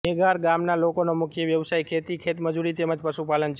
મેગાળ ગામના લોકોનો મુખ્ય વ્યવસાય ખેતી ખેતમજૂરી તેમ જ પશુપાલન છે